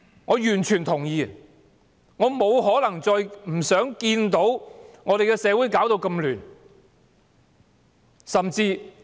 我完全同意這點，亦不願看到社會亂象持續。